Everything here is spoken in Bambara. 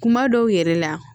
Kuma dɔw yɛrɛ la